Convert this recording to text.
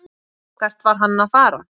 Hvert var hann að fara?